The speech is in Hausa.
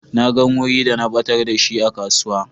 Na gan wuri da na batar da shi a kasuwa.